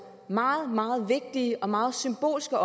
meget meget vigtige og meget symbolske